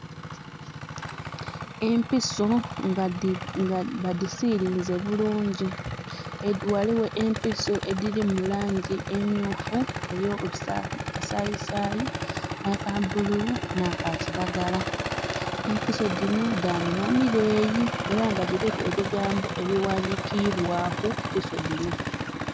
Empiso nga ba disilinze bulungi. Waliwo empiso ediri mu langi emyufu eya kasayisayi, aka bululu na ka kiragala. Empiso dinho da minhwa mileeyi era diriku ebigambo ebiwandikirwaku empiso dinho